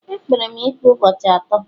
E kpere m ikpe ụbọchị atọ